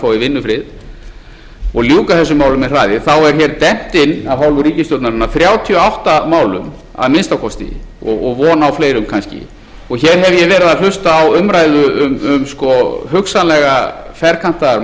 fái vinnufrið og ljúka þessum málum með hraði er hér dembt inn af hálfu ríkisstjórnarinnar þrjátíu og átta málum að minnsta kosti og von á fleirum kannski hér hef ég verið að hlusta á umræðu um hugsanlega ferkantaðar